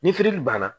Ni firili b'a na